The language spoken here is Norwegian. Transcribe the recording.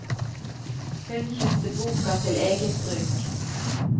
Hun kjøpte boka til eget bruk.